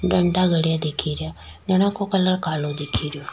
डंडा गड़े दिख रिया डंडा को कलर कालो दिख रियो।